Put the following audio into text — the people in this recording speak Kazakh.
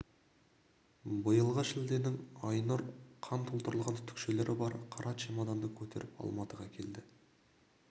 биылғы шілденің айнұр қан толтырылған түтікшелері бар қара чемоданды көтеріп алматыға келді